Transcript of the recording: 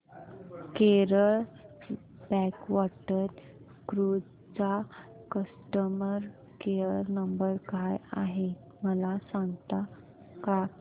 Kerala backwater cruise चा customer care number काय आहे मला सांगता का